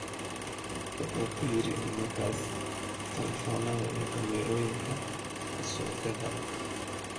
Wuxuu kuyiri nimankas telefonadha iyo kameroyinka kaa sokadha.